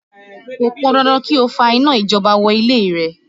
Kò pọn dandan kí ó fa iná ìjọba wọ ilé rẹ